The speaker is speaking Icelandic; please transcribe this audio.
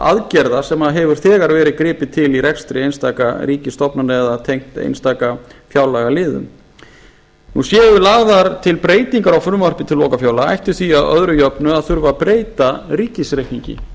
aðgerða sem hefur þegar verið gripið til í rekstri einstaka ríkisstofnana eða tengt einstaka fjárlagaliðum séu lagðar til breytingar á frumvarpi til lokafjárlaga ætti því að öðru jöfnu þurfa að breyta ríkisreikningi